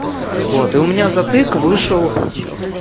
вот и у меня затык вышел